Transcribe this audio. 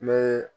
N bɛ